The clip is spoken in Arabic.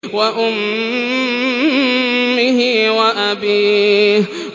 وَأُمِّهِ وَأَبِيهِ